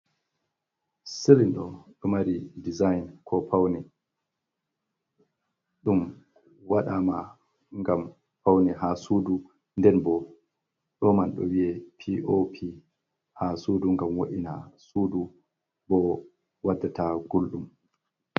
Silin do ɗo mari design ko paune ɗum waɗama ngam paune ha sudu nden bo ɗoman ɗo wiye pop ha sudu ngam wo’ina sudu bo waddata gulɗum.